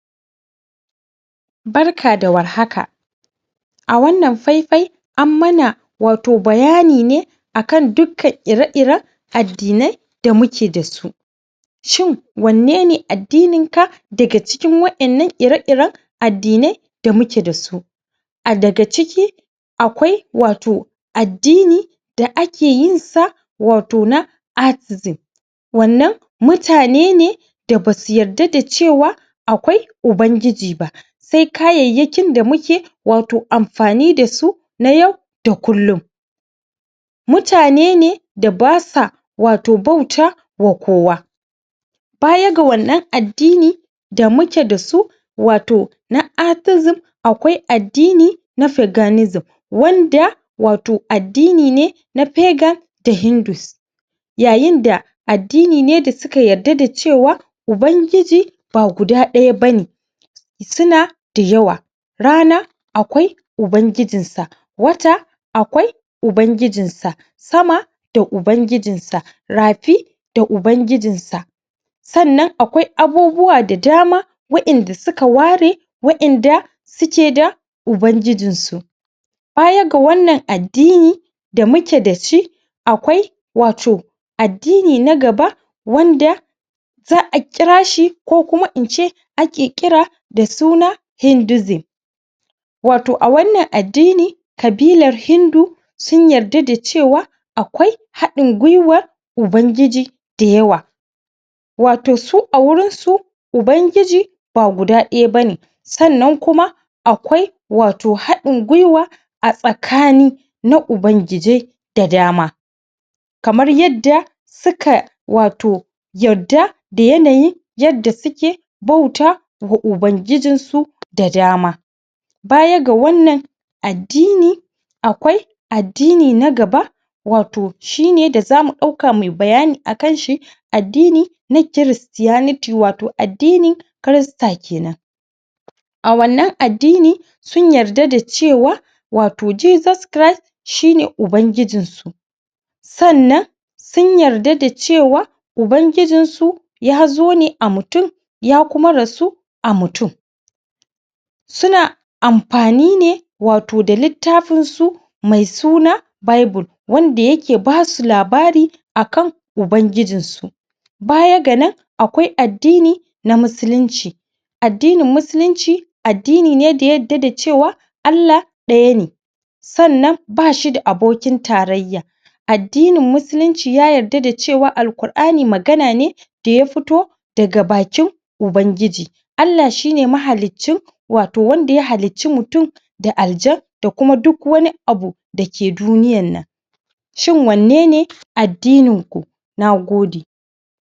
Barka da warhaka a wannan faifai an mana wato bayani ne akan dukkan ire-iren addinai da muke da su shin wanne ne addininka daga cikin wa'innan ire-iren addinai da muke da su a daga ciki akwai wato addini da ake yinsa wato na Athesm wannan mutane ne da basu yadda da cewa akwai Ubangiji ba sai kayayyakin da muke wato amfani da su na yau da kullum mutane ne da basa wato bauta wa kowa baya ga wannan addini da muke da su wato na Athesm akwai addini na Paganism wanda wato addini ne na Pagan da Hindus yayinda addini ne da suka yarda da cewa Ubangiji ba guda ɗaya ba ne suna da yawa rana akwai ubangijinsa wata akawai ubangijinsa sama sama da ubangijinsa rafi da ubangijinsa sannan akwai abubuwa da dama wa'inda suka ware wa'inda suke da ubangijinsa baya ga wannan addini da muke da shi akwai wato addini na gaba wanda za a kirashi ko kuma in ce ake kira da suna hundism ato a wannan addini ƙabilar hindu sun yarda da cewa akwai haɗin gwiwar ubangiji dayawa wato su a wurinsu ubangiji ba guda ɗaya ba ne sannan kuma akwai wato haɗin gwiwa a tsakani na ubangijai da dama kamar yadda suka wato yadda da yanayin yadda suke bauta wa ubangijinsu da dama baya ga wannan addini akwai addini na gaba wato shine da zamu ɗauka muyi bayani akanshi addini na christianity wato addini christ a kenan a wannan addini sun yarda da cewa wato jesus christ shi ne ubangiinsu sannan sun yarda da cewa ubangijinsu ya zo ne a mutum ya kuma rasu mutum suna amfani ne wato da littafinsu mai suna bible wanda yake basu labari akan ubangijinsu baya ga nan akwai addini na musulunci addinin musulunci addini ne da ya yadda da cewa Allah ɗaya ne sannan bashi da abokin tarayya addinin musulunci ya yadda da cewa Al-qur'ani magana ne da ya fito daga bakin Ubangiji Allah shi ne mahaliccin wato wanda ya halicci mutum da aljan da kuma duk wani abu da ke duniyannan shin wanne ne addininku na gode